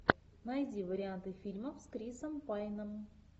найди варианты фильмов с крисом пайном